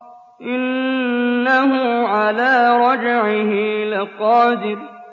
إِنَّهُ عَلَىٰ رَجْعِهِ لَقَادِرٌ